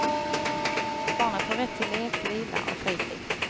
Barnet har rätt till lek, vila och fritid.